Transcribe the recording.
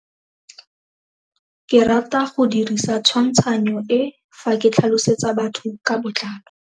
Ke rata go dirisa tshwantshanyo e, fa ke tlhalosetsa batho ka botlalo.